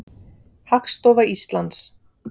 Hagstofa Íslands.